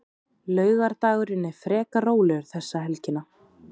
Laugardagurinn er frekar rólegur þessa helgina.